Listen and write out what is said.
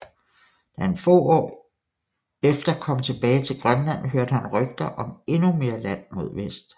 Da han få år efter kom tilbage til Grønland hørte han rygter om endnu mere land mod vest